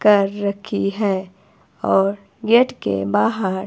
कर रखी है और गेट के बाहर--